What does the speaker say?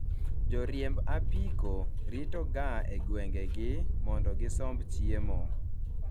joriemb apiko rito ga e gwenge gi, mondo gisomb chiemo